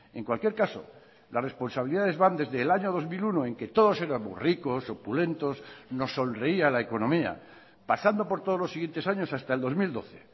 en cualquier caso las responsabilidades van desde el año dos mil uno en que todos éramos ricos opulentos nos sonreía la economía pasando por todos los siguientes años hasta el dos mil doce